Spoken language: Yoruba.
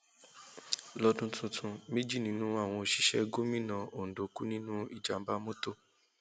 lọdún tuntun méjì nínú àwọn òṣìṣẹ gómìnà ondo kú nínú ìjàǹbá mọtò